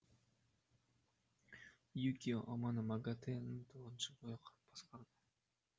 юкия амано магатэ ні тоғыз жыл бойы басқарды